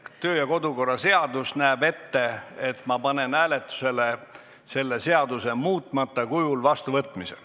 Kodu- ja töökorra seadus näeb ette, et ma panen hääletusele selle seaduse muutmata kujul vastuvõtmise.